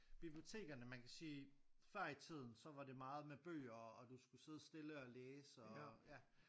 Bibliotekerne man kan sige før i tiden så var det meget med bøger og du skulle sidde stille og læse og ja